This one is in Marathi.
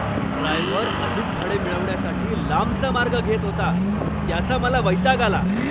ड्रायव्हर अधिक भाडे मिळवण्यासाठी लांबचा मार्ग घेत होता त्याचा मला वैताग आला.